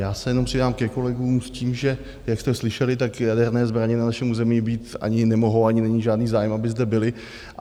Já se jenom přidám ke kolegům, s tím, že jak jste slyšeli, tak jaderné zbraně na našem území být ani nemohou, ani není žádný zájem, aby zde byly.